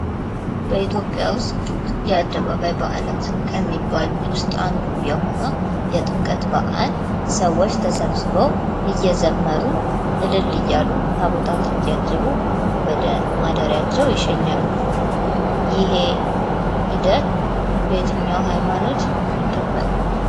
በኢትዮጵያ ውስጥ የአደባባይ በዓላት ከሚባሉት አንዱ የሆነው የጥምቀት በዓል ሰዎች ተሰብስበው እየዘመሩ እልል እያሉ ታቦታትን እያጀቡ ወደ ማደሪያቸው ይሸኛሉ ይህ ሂደት በየትኛው ሃይማኖት ይከበራል?